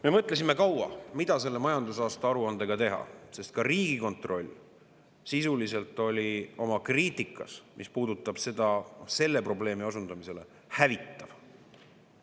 Me mõtlesime kaua, mida selle majandusaasta aruandega teha, sest ka Riigikontroll oli oma kriitikas, mis puudutab selle probleemi osundamist, sisuliselt hävitav.